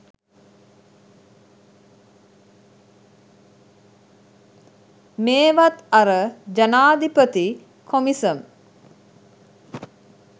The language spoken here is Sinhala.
මෙවත් අර ජනාදිපති කොමිසම්